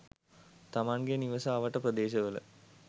තමන්ගේ නිවස අවට ප්‍රදේශවල